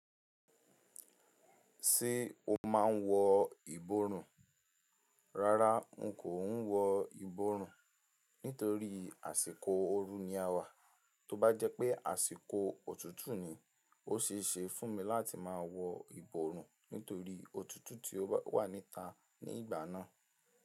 Ṣé o máa ń wọ ìborùn? Rárá, n kò ń wọ ìborùn nítorí àsìkò oru ni a wà. Tó bá jẹ́ pé àsìkò òtútù ni, ó ṣe é ṣe fún mi láti máa wọ ìborùn nítorí òtútù tí ó wà níta ní ìgbà náà.